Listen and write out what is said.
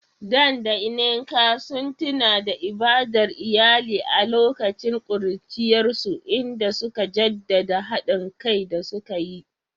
Dan da Nneka sun tuna da ibadar iyali a lokacin ƙuruciyarsu, inda suka jaddada haɗin kai da suka yi.